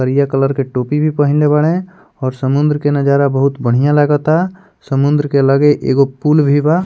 करिया कलर के टोपी भी पहिनले बाड़े और समुन्द्र के नजारा बहुत बढ़ियां लगता समुन्द्र के लगे एगो पुल भी बा।